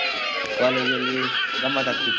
College ಅಲ್ಲಿ ಗಮ್ಮತ್ ಆಗ್ತಿತ್ತು.